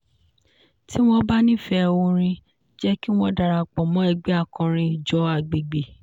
tí wọ́n bá nífẹ̀ẹ́ oorin jẹ́ kí wọ́n darapọ̀ mọ́ ẹgbẹ́ akọrin ìjọ agbègbè.